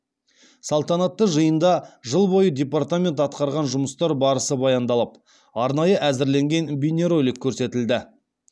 салтанатты жиында жыл бойы департамент атқарған жұмыстар барысы баяндалып арнайы әзірленген бейнеролик көрсетілді